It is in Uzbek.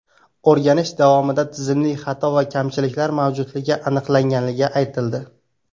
O‘rganish davomida tizimli xato va kamchiliklar mavjudligi aniqlangani aytildi.